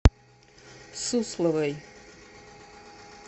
сусловой